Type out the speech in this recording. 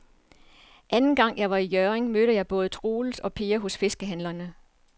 Anden gang jeg var i Hjørring, mødte jeg både Troels og Per hos fiskehandlerne.